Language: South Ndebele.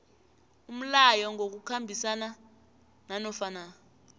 umlayo ngokukhambisana nanofana